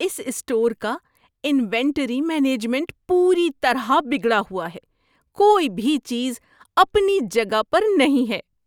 اس store کا inventory management پوری طرح بگڑا ہوا ہے۔ کوئی بھی چیز اپنی جگہ پر نہیں ہے۔